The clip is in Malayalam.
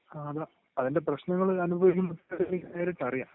ങാ, അതാ..അതിൻ്റെ പ്രശ്നങ്ങള് അനുഭവിക്കുന്ന കുറച്ചുപേരെ എനിക്ക് നേരിട്ട് അറിയാം.